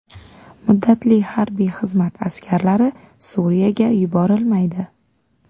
Muddatli harbiy xizmat askarlari Suriyaga yuborilmaydi.